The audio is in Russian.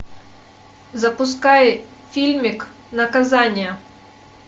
запускай фильмик наказание